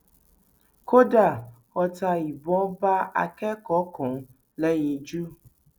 kódà ọta ìbọn bá akẹkọọ kan lẹyinjú